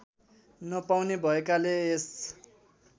नपाउने भएकाले यस